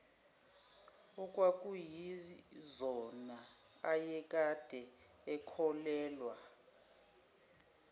okwakuyizona ayekade ekholelwa